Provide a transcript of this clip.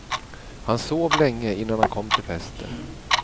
Han sov länge innan han kom till festen.